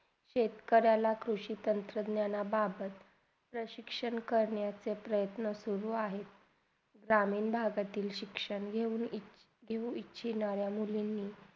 शेतकऱ्याला कृषी संसाधन्या बाबत अ शिक्षण करण्याचे प्रयत्न सुरू आहेत. जमीन बघातील शिक्षण घेऊन, घेऊन इच्छा अनुसार मुलींनी